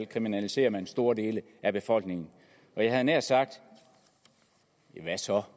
kriminaliserer man store dele af befolkningen og jeg havde nær sagt hvad så